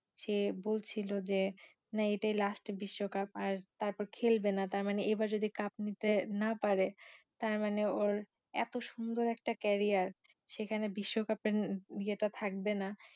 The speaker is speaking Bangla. সে বলছিলো যে না এইটাই last বিশ্বকাপ আর তারপর খেলবে না তার মানে এইবার যদি cup নিতে না পারে তার মানে ওর এতো সুন্দর একটা career সেখানে বিশ্বকাপের য়ে টা থাকবে না